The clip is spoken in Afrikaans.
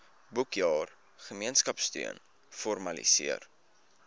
boekjaar gemeenskapsteun formaliseer